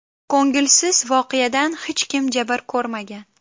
Ko‘ngilsiz voqeadan hech kim jabr ko‘rmagan.